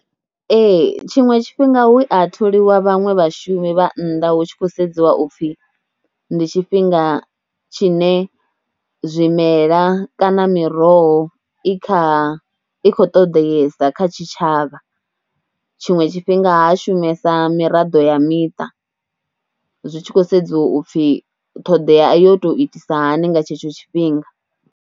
Ee tshiṅwe tshifhinga hu a tholiwa vhaṅwe vhashumi vha nnḓa hu tshi khou sedziwa u pfhi ndi tshifhinga tshine zwimela kana miroho i kha, i khou ṱoḓeyesa kha tshitshavha, tshiṅwe tshifhinga ha shumesa miraḓo ya miṱa, zwi tshi khou sedziwa u pfhi ṱhoḓea yo tou itisa hani nga tshetsho tshifhinga.